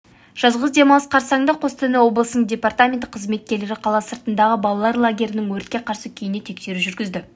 жазғы демалыс қарсаңында қостанай облысының департаменті қызметкерлері қала сыртындағы балалар лагерлерінің өртке қарсы күйіне тексеру жүргізді